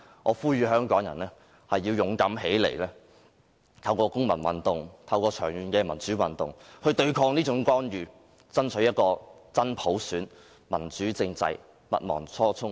我呼籲香港人勇敢站起來，透過長期的公民運動和民主運動對抗這種干預，爭取真普選、民主政制，不忘初衷。